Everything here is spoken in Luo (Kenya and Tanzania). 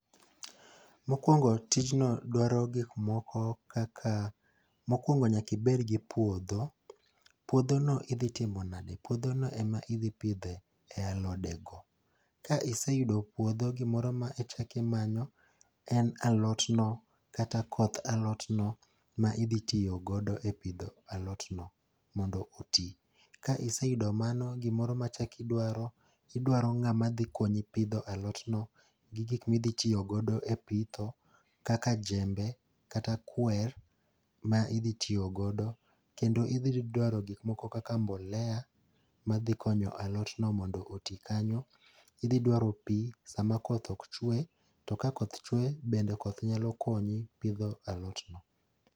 Mokuongo tijno dwaro gik moko kaka mokuongo nyaka ibed gi pudho. Puodhono idhi timo nade, puodhono ema idhi pidhe alodego. Ka iseyudo puodho, gimoro ma ichako imanyo en alotno kata koth alotno. Ka iseyudo mano gimoro ma ichako idwaro, idwaro ng'ama dhi konyi pidho alotno gi gik ma idhi tiyo godo epitho kaka jembe kata kwer ma idhi tiyo godo kendo idhi dwaro gik moko kaka mbolea madhi konyo alotno mondo oti kanyo, idhi dwaro pi sama koth ok chwe, to ka koth chwe, bende koth nyalo konyi gi pidho alotno.